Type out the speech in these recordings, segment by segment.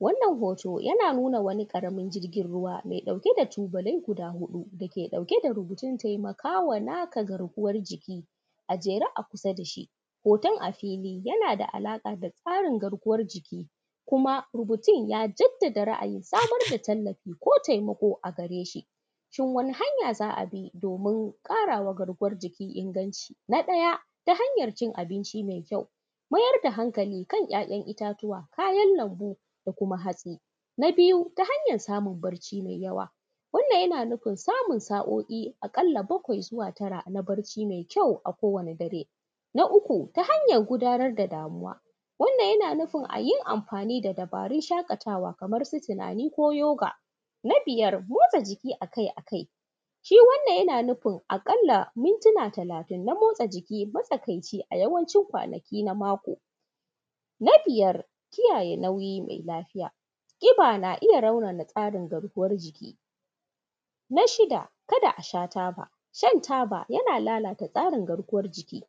Wannan hutu yana nuna wani ƙaramin jirgin ruwa mai ɗauke da tubalai guda huɗu wanda ke ɗauke da rubutun taimakama naka garkuwan jikin a jere a kusa da shi, hotun a fili yana da alama taimakama naka garkuwan jikin kuma rubutun ya jaddada samar da tallafi ko taimako a gareshi. Shin wani hanya za a bi domin ƙara ma garkuwan jiki inganci? Na ɗaya ta hanyan cin abinci me kyau: mayar da hankali kan ‘ya’yan iya tuwa, kayan lanbu da kuma hatsi. Na biyu ta hanyan samun bacci me inganci: wannan yana nufin samun sa’oi aƙalla bakwai zuwa tara na barci mai kyau akowane dare. Na uku ta hanyan gudanar da damuwa: wannan yana nufin a yi anfani da dubarun shaƙatawa kamar su: tunani ko yoga. Na biyar motsa jiki akai-akai: shi wannan yana nufin aƙalla mintina talatin na motsa jiki matsakaici a yawancin ranaku na mako. Na biyar kiyaye nau’ka ko lafiya: ƙiba na iya raunana tsarin garkuwan jiki. Na shida ka da a sha taba: shan taba yana lalata tsarin garkuwan jiki.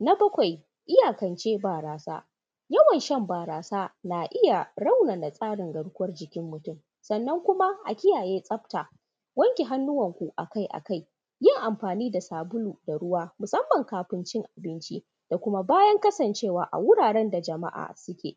Na bakwai iyakance barasa: yawan shan barasa yana raunana tsarin garkuwan jikin mutum, sannan kuma a kiyaye tsafta, wanke hannuwanku akai-akai, yin anfani da sabulu da ruwa musanman kafin cin abinci da kuma bayan kasancewa wuraren da jama’a suke.